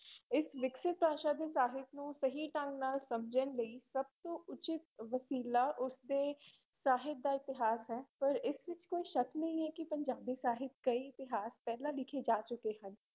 ਇਸ ਵਿਕਸਿਤ ਭਾਸ਼ਾ ਦੇ ਸਾਹਿਤ ਨੂੰ ਸਹੀ ਢੰਗ ਨਾਲ ਸਮਝਣ ਲਈ ਸਭ ਤੋਂ ਉਚਿੱਤ ਵਸੀਲਾ ਉਸ ਦੇ ਸਾਹਿਤ ਦਾ ਇਤਿਹਾਸ ਹੈ ਪਰ ਇਸ ਵਿੱਚ ਕੋਈ ਸ਼ੱਕ ਨਹੀਂ ਹੈ ਕਿ ਪੰਜਾਬੀ ਸਾਹਿਤ ਕਈ ਇਤਿਹਾਸ ਪਹਿਲਾ ਲਿਖੇ ਜਾ ਚੁੱਕੇ ਹਨ।